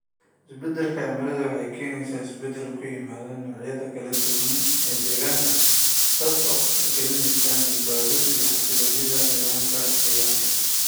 Isbeddelka cimiladu waxay keenaysaa isbeddel ku yimaada noocyada kala duwan ee deegaanka, taasoo khatar gelinaysa badbaadadooda iyo xasilloonida nidaamka deegaanka.